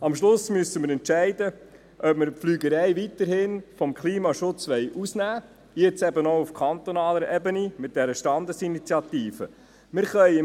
Am Schluss müssen wir entscheiden, ob wir die Fliegerei weiterhin vom Klimaschutz ausnehmen wollen, jetzt eben mit der Standesinitiative auch auf kantonaler Ebene.